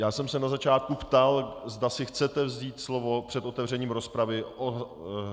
Já jsem se na začátku ptal, zda si chcete vzít slovo před otevřením rozpravy.